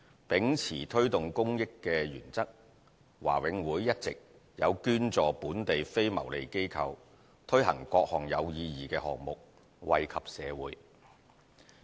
秉持推動公益的原則，華永會一直有捐助本地非牟利機構，推行各項有意義的項目，惠及社會。